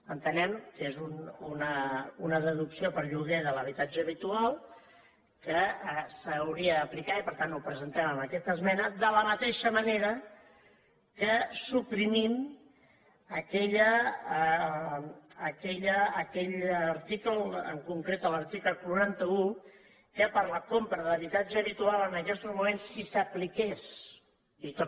entenem que és una deducció per lloguer de l’habitatge habitual que s’hauria d’aplicar i per tant ho presentem amb aquesta esmena de la mateixa manera que suprimim aquell article en concret l’article quaranta un que per la compra de l’habitatge habitual en aquestos moments si s’apliqués i tot